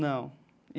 Não.